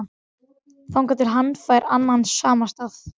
Þangað til hann fær annan samastað